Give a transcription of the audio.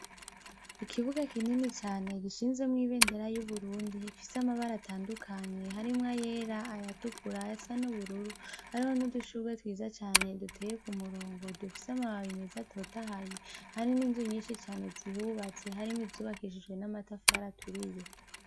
Ikibuga kinini cane gishinzemwo ibendera y'uburundi fise amabara atandukanye harimwo yera ayatukura ya sa n'ubururu hariho niudushurwe twiza cane duteye ku murongo dufise amabara imezi atotahaye hari n'inzu nyinshi cane zihubatse harimwo izubakishijwe n'amatafara aturiye.